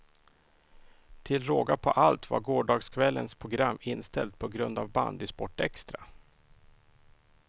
Till råga på allt var gårdagskvällens program inställt på grund av bandysportextra.